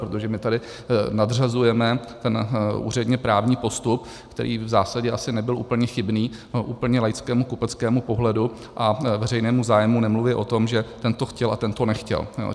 Protože my tady nadřazujeme ten úředně právní postup, který v zásadě asi nebyl úplně chybný, úplně laickému kupeckému pohledu a veřejnému zájmu, nemluvě o tom, že ten to chtěl a ten to nechtěl.